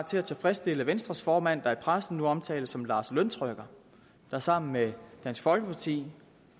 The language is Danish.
til at tilfredsstille venstres formand der i pressen nu omtales som lars løntrykker der sammen med dansk folkeparti